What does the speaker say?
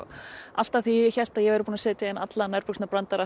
alltaf þegar ég hélt ég væri búin að setja inn alla